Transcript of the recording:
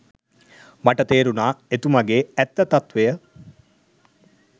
මට තේරුණා එතුමගෙ ඇත්ත තත්ත්වය.